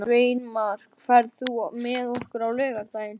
Sveinmar, ferð þú með okkur á laugardaginn?